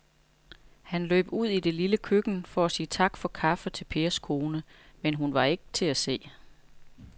Han løb ud i det lille køkken for at sige tak for kaffe til Pers kone, men hun var ikke til at se.